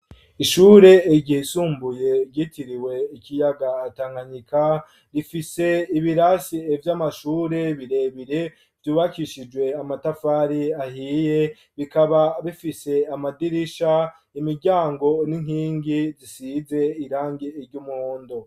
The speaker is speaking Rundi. Ishure ryisumbuye gitiriwe ikiyaga tankanyika rifise ibirasi vy'amashure birebire vyubakishijwe amatafari ahiye bikaba bifise amadirisha imiryango n'inkingi zisize irangi ry'umuhondo.